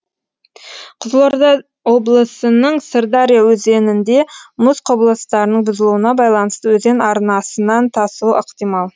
қызылорда облысының сырдария өзенінде мұз құбылыстарының бұзылуына байланысты өзен арнасынан тасуы ықтимал